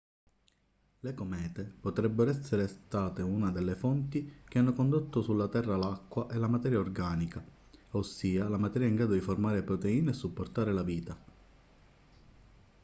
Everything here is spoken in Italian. le comete potrebbero essere state una delle fonti che hanno condotto sulla terra l'acqua e la materia organica ossia la materia in grado di formare proteine e supportare la vita